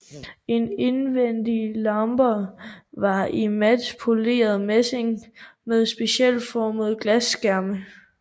De indvendige lamper var i mat poleret messing med specielt formede glasskærme